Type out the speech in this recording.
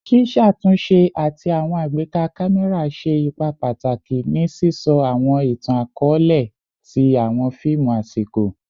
Ṣiṣatunṣe ati awọn agbeka kamẹra ṣe ipa pataki ni sisọ awọn itan-akọọlẹ ti awọn fiimu asiko